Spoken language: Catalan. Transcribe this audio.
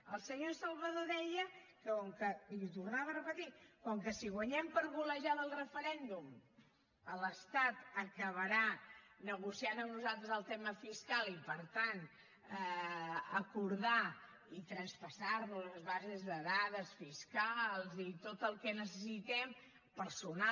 el senyor salvadó deia que com que i ho tornava a repetir si guanyem per golejada el referèndum l’estat acabarà negociant amb nosaltres el tema fiscal i per tant acordar i traspassar nos les bases de dades fiscals i tot el que necessitem personal